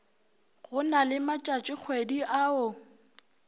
go na le matšatšikgwedi ao